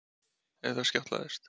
En þar skjátlaðist